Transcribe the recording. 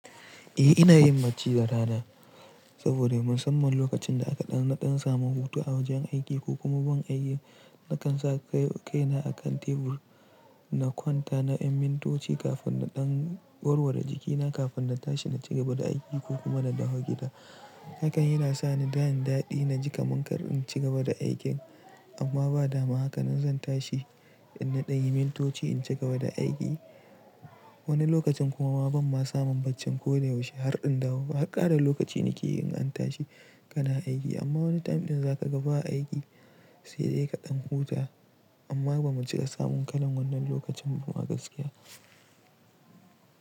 Eh ina yin bacci da rana saboda musamman lokacin da aka ɗan na ɗan samu huta a wajen aiki ko kuma ban aiki, na kan sa kai kai na a kan tebur na kwanta na yin mintoci kafin na ɗan warware jikina kafin na tashi na ci gaba da aiki ko kuma na dawo gida. Hakan yana sa ni da yin daɗi na ji kaman kar in ci gaba da aikin amma ba dama haka zan tashi in na ɗan yi mintoci in ci gaba da aiki. Wani lokacin kuma ma ban ma samu baccin ko da yaushe har in dawo ba. Harkara lokaci na ke yi in an tashi kana aiki amma wani time ɗin za ka gaba aiki sai dai ka ɗan huta amma ba mu cika samun kalan wannan lokacin ba a gaskiya.